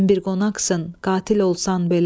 Sən bir qonaqsan, qatil olsan belə.